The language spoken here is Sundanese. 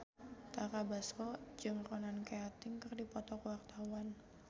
Tara Basro jeung Ronan Keating keur dipoto ku wartawan